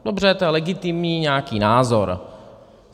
Dobře, to je legitimní, nějaký názor.